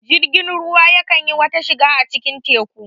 Jirgin ruwa ya kan yi wata shida a cikin teku